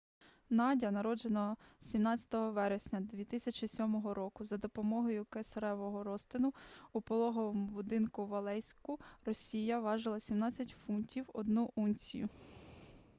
надя народжена 17 вересня 2007 року за допомогою кесаревого розтину у пологовому будинку в алейську росія важила 17 фунтів 1 унцію